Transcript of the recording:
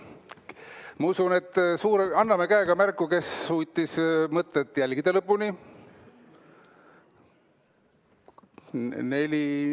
Ma arvan, et anname käega märku, kes suutis mõtet lõpuni jälgida!